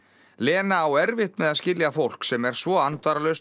Lena á erfitt með að skilja fólk sem er svo